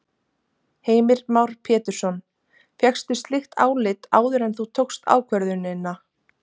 Heimir Már Pétursson: Fékkstu slíkt álit áður en þú tókst ákvörðunina?